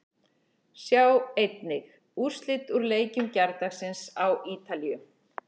Sjá einnig: Úrslit úr leikjum gærdagsins á Ítalíu